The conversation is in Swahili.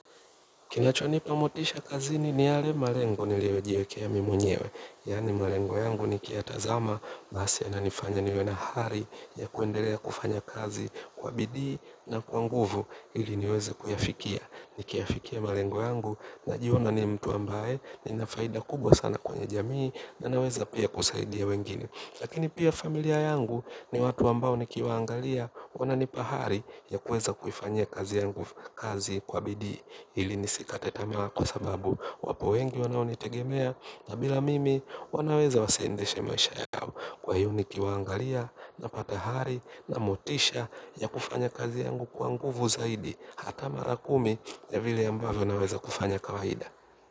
Kinacho nipa motisha kazini ni yale malengo niliojiekea mi mwenyewe. Yani malengo yangu niki yatazama, basi yana nifanya niwe na hari ya kuendelea kufanya kazi kwa bidii na kwa nguvu ili niweze kuyafikia. Nikiya fikia malengo yangu najiona ni mtu ambaye nina faida kubwa sana kwenye jamii na naweza pia kusaidia wengine. Lakini pia familia yangu ni watu ambao nikiwaangalia wana nipa hari ya kuweza kufanya kazi kwa bidii. Ili nisikate tamaa kwa sababu wapo wengi wanaonitegemea na bila mimi wanaweza wasiendeshe maisha yao kwa hiyo ni kiwangalia napata hari na motisha ya kufanya kazi yangu kwa nguvu zaidi hata mara kumi ya vile ambavyo naweza kufanya kawaida.